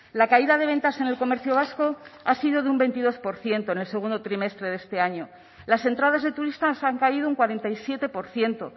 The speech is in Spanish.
la caída de ventas en el comercio vasco ha sido de un veintidós por ciento en el segundo trimestre de este año las entradas de turistas han caído un cuarenta y siete por ciento